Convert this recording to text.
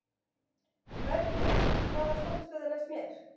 Bergmannía, hvaða stoppistöð er næst mér?